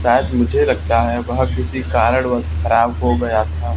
शायद नीचे लटका है वह किसी कारण वश खराब हो गया था।